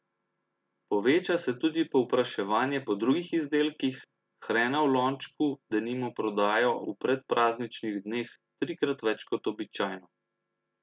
Poveča se tudi povpraševanje po drugih izdelkih, hrena v lončku denimo prodajo v predprazničnih dneh trikrat več kot običajno.